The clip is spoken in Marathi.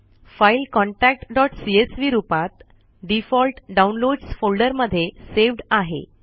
फाईल contactसीएसवी रुपात डीफोल्ट डाउनलोड्स फोल्डर मध्ये सेव्ड आहे